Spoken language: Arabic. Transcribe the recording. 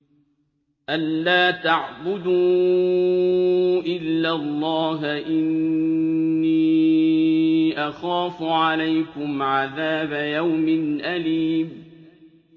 أَن لَّا تَعْبُدُوا إِلَّا اللَّهَ ۖ إِنِّي أَخَافُ عَلَيْكُمْ عَذَابَ يَوْمٍ أَلِيمٍ